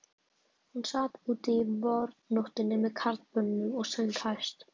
Hún sat úti í vornóttinni með karlmönnunum og söng hæst.